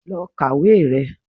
Lọ kàwé rẹ!